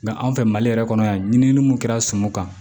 anw fɛ mali yɛrɛ kɔnɔ yan ɲininini mun kɛra sumu kan